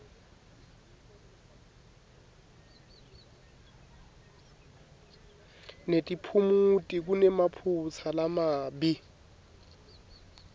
netiphumuti kunemaphutsa lamabi